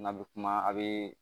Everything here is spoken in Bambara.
N'a bɛ kuma a bɛ